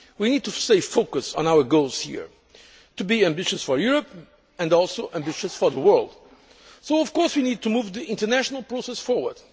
We need to stay focused on our goals here, to be ambitious for Europe, and also ambitious for the world. We need to move the international process forward.